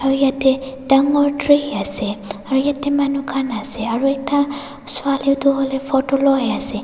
ru yatae dangor tree ase aru yatae manu khan ase aru ekta swali tu hoilae photo loiase.